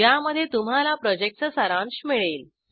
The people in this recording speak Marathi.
ज्यामध्ये तुम्हाला प्रॉजेक्टचा सारांश मिळेल